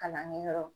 Kalankɛ yɔrɔ